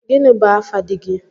Gini bu afa dígị?